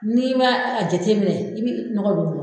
N'i ma a jateminɛ i bɛ nɔgɔ don